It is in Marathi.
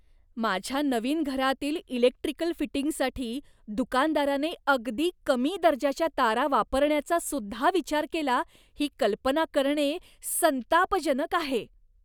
माझ्या नवीन घरातील इलेक्ट्रिकल फिटिंगसाठी दुकानदाराने अगदी कमी दर्जाच्या तारा वापरण्याचा सुद्धा विचार केला, ही कल्पना करणे संतापजनक आहे.